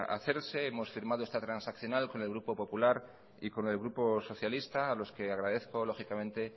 hacerse hemos firmado esta transaccional con el grupo popular y con el grupo socialista a los que agradezco